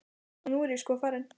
Og nú er ég sko farin.